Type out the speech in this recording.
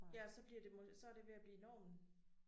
Ja og så bliver det så er det ved at blive normen